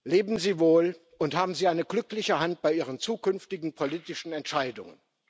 Leben Sie wohl und haben Sie eine glückliche Hand bei Ihren zukünftigen politischen Entscheidungen!